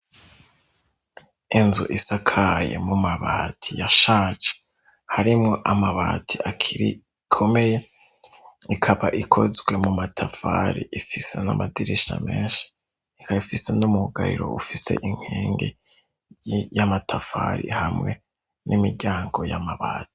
Inzu isakaye mu mabati yashaje harimwo amabati agikomeye ikaba ikozwe mu matafari ifise n'amadirisha meshi ikaba ifise n'umwugariro ufise inkengi y'amatafari hamwe n'imiryango y'amabati.